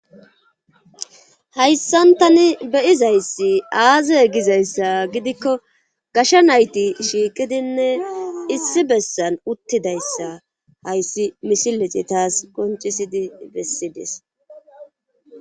Hayssan tani be7izayssi aaze gizayssa gidikko gasha nayti shiiqidinne issi bessan uttidayssa hayssi misilezi taas qonccisidi bessides.